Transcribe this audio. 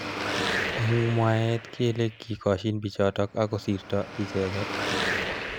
Eng mwaet kele kikoshin bichotok akosirto icheket.